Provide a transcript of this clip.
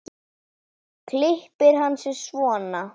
Klippir hann sig svona.